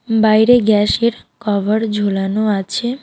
বাইরে গ্যাসের কভার ঝোলানো আছে.